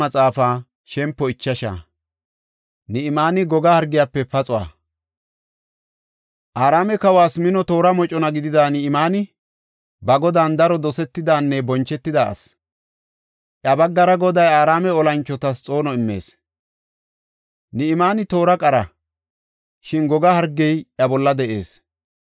Araame kawas mino toora mocona gidida Ni7imaani, ba godan daro dosetidanne bonchetida asi. Iya baggara Goday Araame olanchotas xoono immis. Ni7imaani toora qara; shin goga hargey iya bolla de7ees.